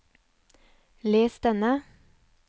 les denne